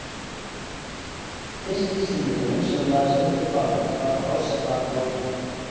fyrsti íslendingurinn sem lagði stund á ballett var ásta norman